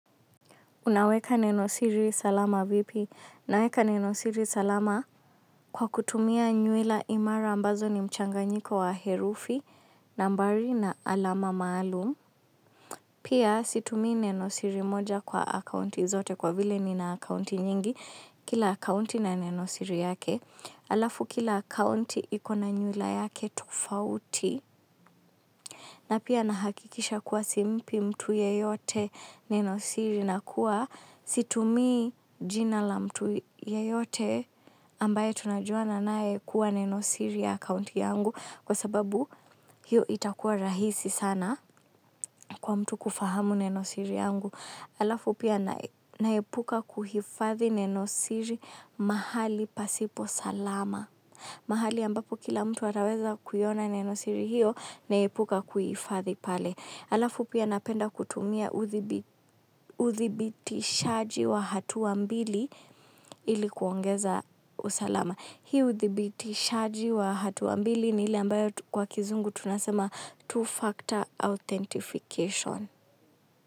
Unaweka nenosiri salama vipi? Naweka nenosiri salama kwa kutumia nyuila imara ambazo ni mchanganyiko wa herufi, nambari na alama maalum. Pia situmii nenosiri moja kwa akaunti zote kwa vile nina akaunti nyingi. Kila akounti na nenosiri yake. Alafu kila akaunti ikona nyuila yake tofauti. Na pia nahakikisha kuwa simpi mtu yeyote nenosiri na kuwa situmii jina la mtu yeyote ambaye tunajuana naye kuwa nenosiri ya akaunti yangu kwa sababu hiyo itakuwa rahisi sana kwa mtu kufahamu nenosiri yangu. Alafu pia naepuka kuhifadhi nenosiri mahali pasipo salama. Mahali ambapo kila mtu ataweza kuiona nenosiri hiyo naepuka kuhifadhi pale. Alafu pia napenda kutumia uthibitishaji wa hatua mbili ili kuongeza usalama. Hii udhibitishaji wa hatua mbili ni ile ambayo kwa kizungu tunasema two-factor authentication.